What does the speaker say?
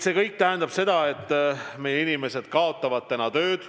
See kõik tähendab seda, et meie inimesed kaotavad töö.